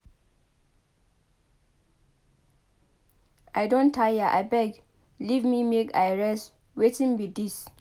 I don tire abeg leave me make I rest wetin be dis?